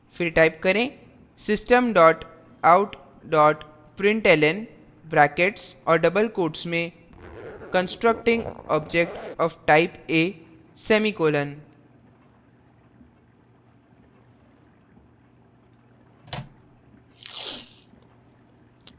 फिर type करें system dot out dot println brackets और double quotes में constructing object of type a semicolon